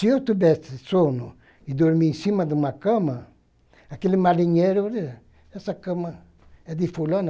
Se eu tivesse sono e dormi em cima de uma cama, aquele marinheiro, olha, essa cama é de fulano.